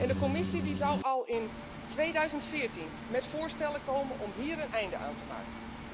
De Commissie zou al in 2014 met voorstellen komen om hier een einde aan te maken.